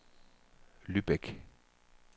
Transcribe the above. Lübeck